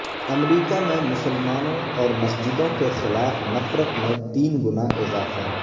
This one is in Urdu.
امریکہ میں مسلمانوں اور مسجدوں کے خلاف نفرت میں تین گنا اضافہ